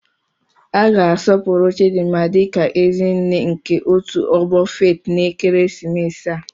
A ga-asọpụrụ Chidinma dị ka "Ezi nne" nke otu ọgbọ Faith n'ekeresimesi a."